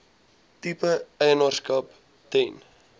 tipe eienaarskap ten